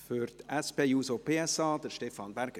Für die SP-JUSO-PSA, Stefan Berger.